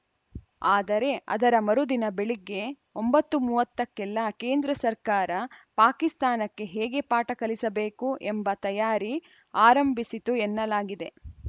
ಆದರೆ ಅದರ ಮರುದಿನ ಬೆಳಗ್ಗೆ ಒಂಬತ್ತು ಮೂವತ್ತಕ್ಕೆಲ್ಲಾ ಕೇಂದ್ರ ಸರ್ಕಾರ ಪಾಕಿಸ್ತಾನಕ್ಕೆ ಹೇಗೆ ಪಾಠ ಕಲಿಸಬೇಕು ಎಂಬ ತಯಾರಿ ಆರಂಭಿಸಿತ್ತು ಎನ್ನಲಾಗಿದೆ